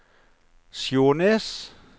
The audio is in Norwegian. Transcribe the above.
Skjånes